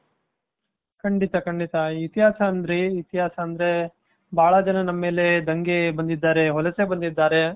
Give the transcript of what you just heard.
ಖಂಡಿತ ಖಂಡಿತ ಇತಿಹಾಸ ಅಂದ್ರೆ ಇತಿಹಾಸ ಅಂದ್ರೆ ಬಹಳ ಜನರ ಮೇಲೆ ದಂಗೆ ಬಂದಿದ್ದಾರೆ ವಲಸೆ ಬಂದಿದ್ದಾರೆ.